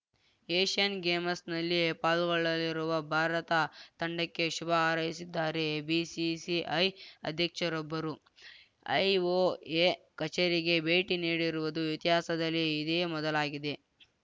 Asian ಗೇಮ್ಸ್‌ನಲ್ಲಿ ಪಾಲ್ಗೊಳ್ಳಲಿರುವ ಭಾರತ ತಂಡಕ್ಕೆ ಶುಭಹಾರೈಸಿದ್ದಾರೆ ಬಿಸಿಸಿಐ ಅಧ್ಯಕ್ಷರೊಬ್ಬರು ಐಒಎ ಕಚೇರಿಗೆ ಭೇಟಿ ನೀಡಿರುವುದು ಇತಿಹಾಸದಲ್ಲಿ ಇದೇ ಮೊದಲಾಗಿದೆ